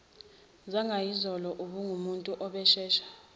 zangayizolo ubengumuntu ozoshesha